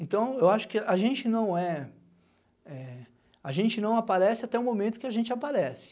Então, eu acho que a gente não é... É a gente não aparece até o momento que a gente aparece.